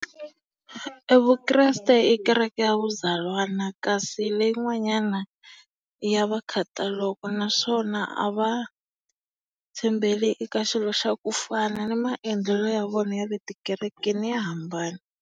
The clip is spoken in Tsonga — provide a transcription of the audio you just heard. E Vukreste i kereke ya vuzalwana kasi leyi n'wanyana i ya va khataloko naswona a va tshembeli eka xilo xa ku fana ni maendlelo ya vona ya le tikerekeni ya hambana.